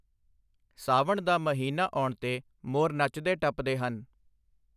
ਸਾਵਨ ਦਾ ਮਹੀਨਾ ਆਉਣ 'ਤੇ ਮੋਰ ਨੱਚਦੇ ਟੱਪਦੇ ਹਨ।